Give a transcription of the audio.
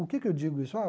O que que eu digo isso? Ah